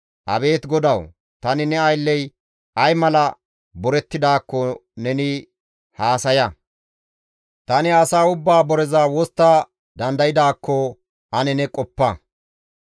Abeet Godawu! Tani ne aylley ay mala borettidaakko neni haasaya; tani asa ubbaa boreza wostta dandaydaakko ane ne qoppa.